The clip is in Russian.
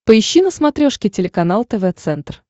поищи на смотрешке телеканал тв центр